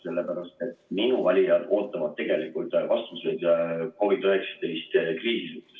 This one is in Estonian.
Sellepärast, et minu valijad ootavad tegelikult vastuseid COVID-19 kriisi kohta.